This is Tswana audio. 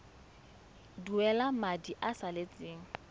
duela madi a a salatseng